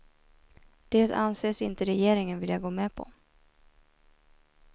Det anses inte regeringen vilja gå med på.